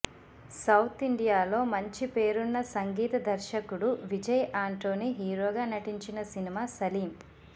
south ఇండియాలో మంచి పేరున్న సంగీత దర్శకుడు విజయ్ అంటోని హీరోగా నటించిన సినిమా సలీం